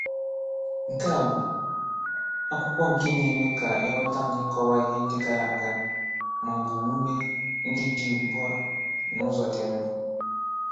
Nkea, bụ akwụkwọ nke na-eme ka ịghọta n'ịkọwa ịhe ndị gara aga, maọbụ omume ndị dị ugbu a n'ụzọ dị mma.